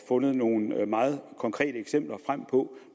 fundet nogle meget konkrete eksempler på